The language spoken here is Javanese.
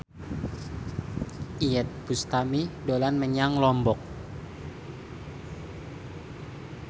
Iyeth Bustami dolan menyang Lombok